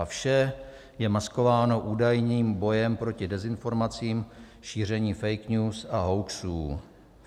A vše je maskováno údajným bojem proti dezinformacím, šíření fake news a hoaxů.